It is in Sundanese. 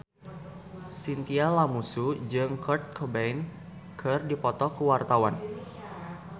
Chintya Lamusu jeung Kurt Cobain keur dipoto ku wartawan